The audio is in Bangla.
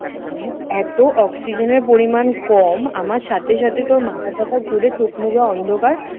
এতো অক্সিজেনের পরিমাণ কম আমার সাথে সাথেতো মাথাটাথা ঘুরে চোখমুখে অন্ধকার